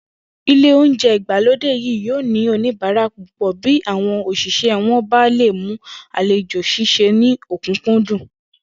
Ilé oúnje̩ ìgbàlódé yìí yóò ní oníbàárà púpò̩ bí àwo̩n òs̩ìs̩é̩ wo̩n bá lè mú àlejò s̩ís̩e ní ò̩kúnkúndùn